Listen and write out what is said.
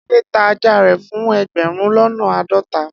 Ade ta aja re fun egberun lona aadota